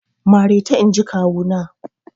Mareta inji kawu na!